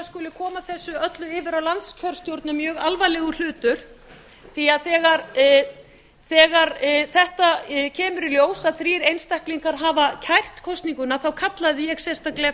skuli koma þessu öllu yfir á landskjörstjórn er mjög alvarlegur hlutur því þegar þetta kemur í ljós að þrír einstaklingar hafa kært kosninguna kallaði ég sérstaklega